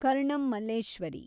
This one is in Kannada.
ಕರ್ಣಂ ಮಲ್ಲೇಶ್ವರಿ